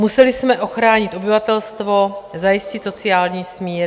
Museli jsme ochránit obyvatelstvo, zajistit sociální smír.